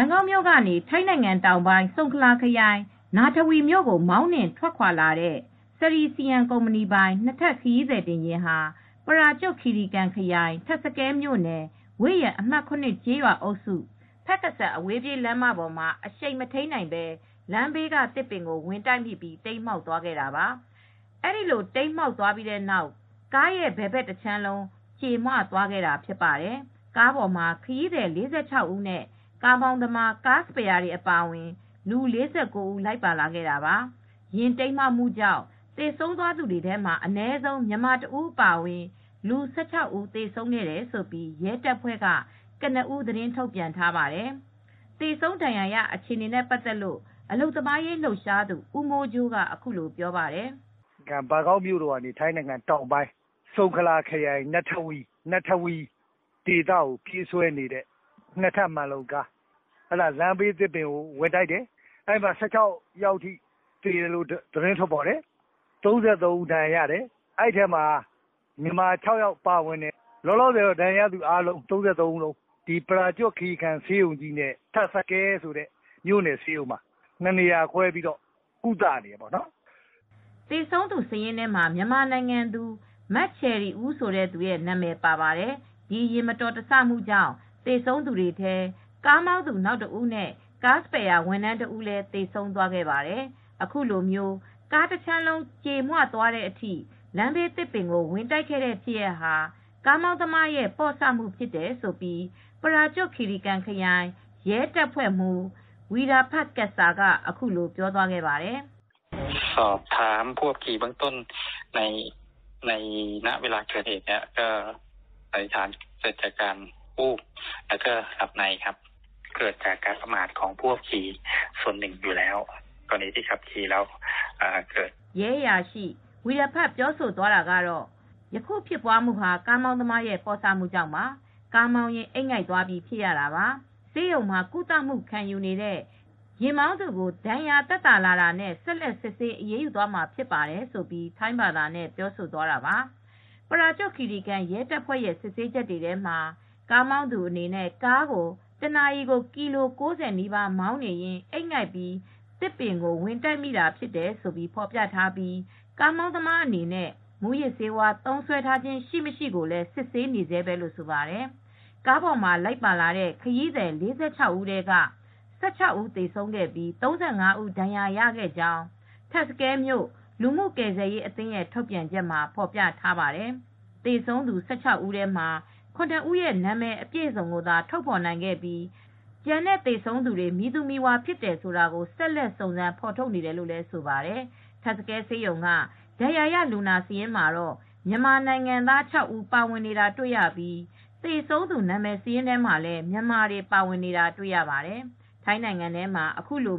န်ကောက်မြို့ကနေ ထိုင်းနိုင်ငံတောင်ပိုင်း ဆုံခလာခရိုင်၊ နာထဝီ မြို့ကို မောင်းနှင်ထွက်ခွာလာတဲ့ Sri Siam (စရီ စီယံ) ကုမ္ပဏီပိုင် နှစ်ထပ် ခရီးသည်တင်ကားဟာ ပရာကျွတ် ခီရီခန် ခရိုင်၊ ထပ်စကဲ မြို့နယ်၊ ဝေ့ယမ် အမှတ်၇ ကျေးရွာအုပ်စု၊ ဖက်ကစန် အဝေးပြေးလမ်းမပေါ်မှာ အရှိန်မထိန်းနိုင်ဘဲ လမ်းဘေးက သစ်ပင်ကို ဝင်တိုက်မိပြီး တိမ်းမှောက်သွားခဲ့တာပါ။ အဲဒီလို တိမ်းမှောက်ပြီးတဲ့နောက် ကားရဲ့ ဘယ်ဘက် တခြမ်းလုံး ကြေမွသွားခဲ့ တာဖြစ်ပါတယ်။ ကားပေါ်မှာ ခရီးသည် ၄၆ဦးနဲ့ ကားမောင်းသမား၊ ကားစပယ်ယာတွေအပါအဝင် လူ ၄၉ ဦး လိုက်ပါလာတာပါ။ ယာဉ်မှောက်မှုကြောင့် သေဆုံးသွားသူတွေထဲ အနည်းဆုံး မြန်မာတဦး အပါအဝင် လူ ၁၆ဦး သေဆုံးခဲ့တယ်လို့ ရဲတပ်ဖွဲ့က ကနဦး သတင်းထုတ်ပြန်ထားပါတယ်။ သေဆုံးဒဏ်ရာရ အခြေအနေနဲ့ပတ်သက်လို့ အလုပ်သမားရေးလှုပ်ရှားသူ ဦးမိုးကြိုးက အခုလိုပြောပါတယ်။ “ထိုင်းနိုင်ငံ၊ ဘန်ကောက်မြို့က ထိုင်းတောင်ပိုင်း ဆုခလာခရိုင်၊ နထဝီမြို့ကို ပြေးဆွဲနေတဲ့ နှစ်ထပ်မှန်လုံကားက လမ်းဘေး သစ်ပင်ကို ဝင်တိုက်တယ်။ အဲဒီမှာ လူ၁၆ယောက်သေတယ်။ အဲဒီမှာဒဏ်ရာရသူ ၃၃ယောက်ရှိတယ်။ အဲဒီထဲမှာ မြန်မာတွေ ၆ဦးလောက် ပါဝင်တယ်။ လောလောဆယ် ဒဏ်ရာရသူ ၃၃ယောက်လုံးကို ထပ်စကဲ ဆေးရုံနဲ့ ပရာကျွတ် ခီရီကန် ဆေးရုံံကြီးမှာ နှစ်နေရာခွဲပြီး ကုသနေရတယ်။” သေဆုံးသူစာရင်းထဲမှာ မြန်မာနိုင်ငံသူ မချယ်ရီဦး ဆိုသူရဲ့ နံမည်ပါတယ်။ ဒီယာဉ်မတော်တဆမှုကြောင့် သေဆုံးသူတွေထဲ ကားမောင်းသူ နောက်တဦးနဲ့ ကားစပါယ်ယာ (ဝန်ထမ်း) တဦးလည်း သေဆုံးခဲ့ပါတယ်။ အခုလို ကားတခြမ်းလုံးကြွေမွသွားတဲ့အထိ လမ်းဘေးသစ်ပင်ကိုဝင်တိုက်ခဲ့တဲ့ ဖြစ်ရပ်ဟာ ကားမောင်းသမားရဲ့ပေါ့ဆမူ့ဖြစ်တယ်လို့ ပရာကျွတ် ခီရီကန် ခရိုင် ရဲတပ်ဖွဲ့မှူး Pol. Col. Weerapat Ketsa (ဝီရဖတ် ကက်ဆာ) က အခုလို ပြောသွားပါတယ်။ “ရဲအရှိ ဝီရဖတ် ပြောသွားတာကတော့ - ယခုဖြစ်ပွားမှုဟာ ကားသမားရဲ့ ပေါ့ဆမှုကြောင့်ပါ။ ကားမောင်းရင်း အိပ်ငိုက်သွားပြီး ဖြစ်ရတာပါ။ ဆေးရုံမှာ ကုသမူ့ခံယူနေတဲ့ ယာဉ်မောင်းသူကို ဒဏ်ရာ သက်သာလာတာနဲ့ ဆက်လက် စစ်ဆေး အရေးယူသွားမှာဖြစ်ပါတယ်” - လို့ ထိုင်းဘာသာနဲ့ ပြောသွားတာပါ။” ပရာကျွတ် ခီရီကန် ရဲတပ်ဖွဲ့ရဲ့ စစ်ဆေးချက်တွေထဲမှာ ကားမောင်းသူအနေနဲ့ ကားကို တနာရီကို ကီလို ၉၀ နီးပါး မောင်းနေရင်း အိပ်ငိုက်ပြီး သစ်ပင်ကို ဝင်တိုက်မိတာဖြစ်တယ်လို့ ဖေါ်ပြထားပြီး ကားမောင်းသမားအနေနဲ့ မူးယစ်ဆေးသုံးစွဲထားခြင်း ရှိမရှိကိုလည်း စစ်ဆေးနေဆဲပဲလို့ ဆိုပါတယ်။ ကားပေါ်မှာ လိုက်ပါလာတဲ့ ခရီးသည် (၄၆) ယောက်ထဲက (၁၆) ဦး သေဆုံးခဲ့ပြီး ၃၅ဦး ဒဏ်ရာရခဲ့ကြောင်း ထပ်စကဲမြို့ လူမှုကယ်ဆယ်ရေးအသင်းရဲ့ ထုတ်ပြန်ချက်မှာ ဖေါ်ပြထားပါတယ်။ သေဆုံးသူ ၁၆ ဦးထဲမှာ ၇ ဦးရဲ့ နာမည်အပြည်စုံသာ ထုတ်ဖေါ်နိုင်ပြီး ကျန်တဲ့ သေဆုံးတွေမည်သူ မည်ဝါဖြစ်တယ်ဆိုတာ ဆက်လက် စုံစမ်းဖေါ်ထုတ်နေတယ်လို့ လည်းဆိုပါတယ်။ ထပ်စကဲ ဆေးရုံက ဒဏ်ရာရလူနာစာရင်းမှာတော့ မြန်မာနိုင်ငံသား ၆ ဦး ပါဝင်နေတာတွေ့ရပြီး သေဆုံးသူ နာမည်စာရင်းထဲမှာလည်း မြန်မာတွေ ပါဝင်နေတာတွေ့ရပါတယ်။ ထိုင်းနိုင်ငံထဲမှာ အခုလို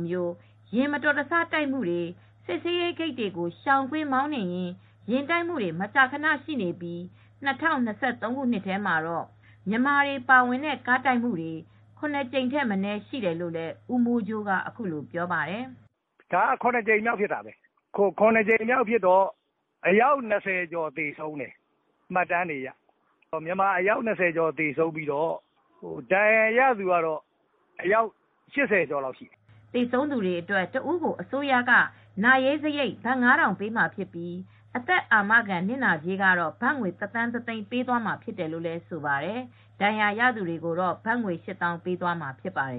ယဉ်မတော်တဆတိုက်မှုတွေ၊ စစ်ဆေးဂိတ်တွေကို ရှောင်ကွင်း မောင်းနှင်ရင်း ယာဉ်တိုက်မူတွေ မကြာခနရှိပြီး ၂၀၂၃ခုနှစ်ထဲမှာတော့ မြန်မာတွေပါဝင်တဲ့ ကားတိုက်မှုတွေ ၇ ကြိမ်ထက်မနည်း ရှိတယ်လို့ ဦးမိုးကြိုးက အခုလို ပြောပါတယ်။ “ဒါက ၇ကြိမ်မြောက်ဖြစ်တာပဲ။ ဒါက ၇ကြိမ်အတွင်းမှာ မြန်မာ ၂၀ကျော် သေဆုံးတယ်။ ဒဏ်ရာရသူက ၈၀ကျော် ရှိပါတယ်။” သေဆုံးသူတွေအတွက် တစ်ဦးကို အစိုးရက နာရေးစရိတ် ဘတ် ၅,၀၀၀ ပေးမှာဖြစ်ပြီး အသက်အာမခံ နစ်နာကြေးကတော့ ဘတ်ငွေ တစ်သန်း တစ်သိန်း ပေးမှာဖြစ်တယ်လို့ ဆိုပါတယ်။ ဒဏ်ရာရသူတွေကတော့ ဘတ်ငွေ ရှစ်သောင်း ပေးမှာဖြစ်ပါတယ်